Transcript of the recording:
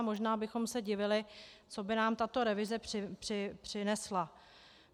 A možná bychom se divili, co by nám tato revize přinesla.